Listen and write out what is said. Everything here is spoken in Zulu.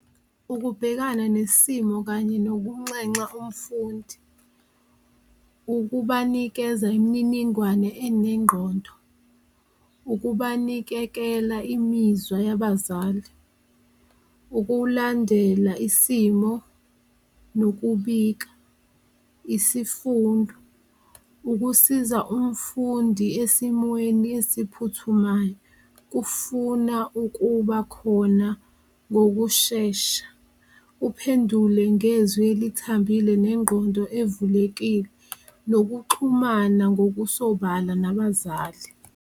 Ukubhekana nesimo kanye nokunxenxa umfundi ukubanikeza imininingwane enengqondo, ukubanikekela imizwa yabazali, ukulandela isimo nokubika, isifundo, ukusiza umfundi esimweni esiphuthumayo kufuna ukuba khona ngokushesha. Uphendule ngezwi elithambile nengqondo evulekile, nokuxhumana ngokusobala nabazali.